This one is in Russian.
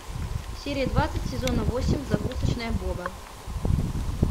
серия двадцать сезона восемь закусочная боба